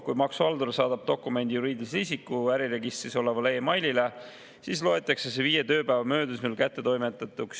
Kui maksuhaldur saadab dokumendi juriidilise isiku äriregistris olevale e-mailile, siis loetakse see viie tööpäeva möödudes kättetoimetatuks.